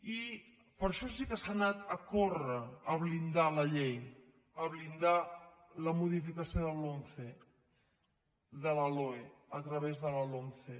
i per això sí que s’ha anat a córrer a blindar la llei a blindar la modificació de la loe a través de la lomce